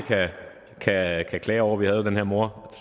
kan klage over vi havde jo den her mor